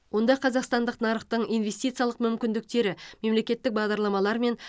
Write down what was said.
онда қазақстандық нарықтың инвестициялық мүмкіндіктері мемлекеттік бағдарламалар мен